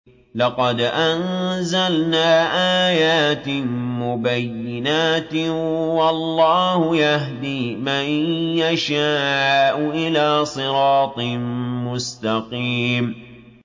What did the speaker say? لَّقَدْ أَنزَلْنَا آيَاتٍ مُّبَيِّنَاتٍ ۚ وَاللَّهُ يَهْدِي مَن يَشَاءُ إِلَىٰ صِرَاطٍ مُّسْتَقِيمٍ